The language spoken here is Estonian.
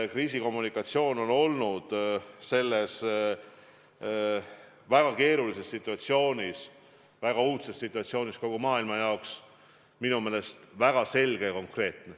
Kriisikommunikatsioon on olnud selles väga keerulises situatsioonis – väga uudses situatsioonis kogu maailma jaoks – minu meelest väga selge ja konkreetne.